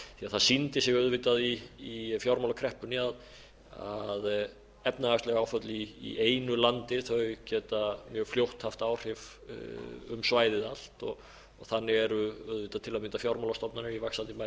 það sýndi sig auðvitað í fjármálakreppunni að efnahagsleg áföll í einu landi geta mjög fljótt haft áhrif um svæðið allt og þannig eru auðvitað til að mynda fjármálastofnanir í vaxandi mæli farnar að